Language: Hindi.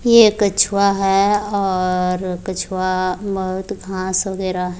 यह कछुआ है और कछुआ बहुत घास वगैरा है।